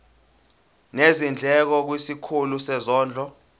nezindleko kwisikhulu sezondlo